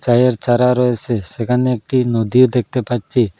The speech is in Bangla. চায়ের চারা রয়েসে সেখানে একটি নদীও দেখতে পাচ্ছি।